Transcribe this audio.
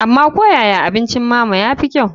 Amma ko yaya abincin mama ya fi kyau.